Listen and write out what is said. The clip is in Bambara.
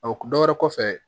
dɔ wɛrɛ kɔfɛ